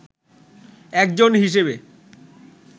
একজন হিসেবে